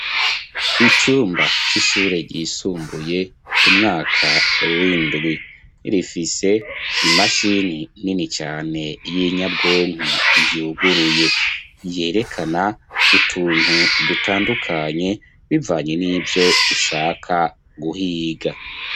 Icumba c'ishure ryisumbuye umwaka w'indwi rifise imashini nini cane y'inyabwonku yuguruye, yerekana utuntu dutandukanye bivanye n'ivyo ushaka guhiga.